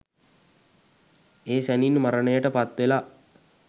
ඒ සැණින් මරණයට පත්වෙලා